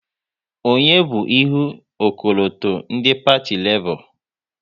Onye bu ihu ọkọlọtọ ndị Parti Lebọ?